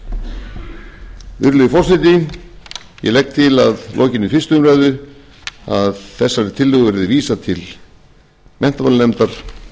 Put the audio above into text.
ég legg til að lokinni fyrstu umræðu að þessari tillögu verði vísað til háttvirtrar menntamálanefndar